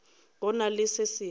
go na le se sengwe